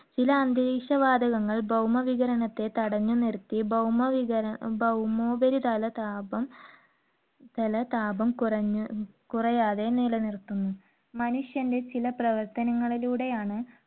ചില അന്തരീക്ഷ വാതകങ്ങൾ ഭൗമവികിരണത്തെ തടഞ്ഞുനിർത്തി ഭൗമവികി~ ഭൗമോപരിതലതാപം ~തലതാപം കുറ~കുറയാതെ നിലനിർത്തുന്നു. മനുഷ്യന്റെ ചില പ്രവർത്തനങ്ങളിലൂടെയാണ്